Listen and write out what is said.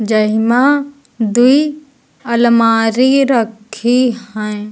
जहिमा द्वि अलमारी रखी हैं।